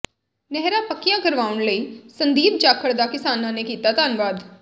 ਨਹਿਰਾਂ ਪੱਕੀਆਂ ਕਰਵਾਉਣ ਲਈ ਸੰਦੀਪ ਜਾਖੜ ਦਾ ਕਿਸਾਨਾਂ ਨੇ ਕੀਤਾ ਧੰਨਵਾਦ